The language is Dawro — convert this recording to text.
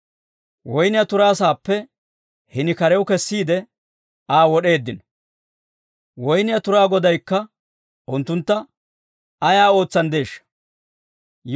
Woynniyaa turaa sa'aappe, hini karew kessiide Aa wod'eeddino. «Woynniyaa turaa Godaykka unttuntta ayaa ootsanddeeshsha?